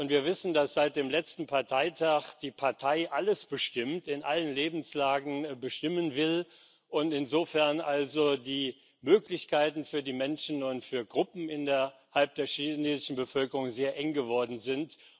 Wir wissen, dass seit dem letzten Parteitag die Partei alles bestimmt, in allen Lebenslagen bestimmen will und insofern die Möglichkeiten für die Menschen und für Gruppen innerhalb der chinesischen Bevölkerung sehr eng geworden sind.